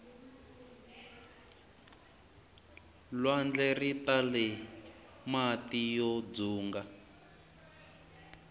lwandle ritale mati yo dzunga